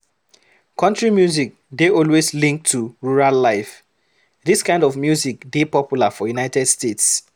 Country music dey always linked to rural life, this kind of music dey popular for United States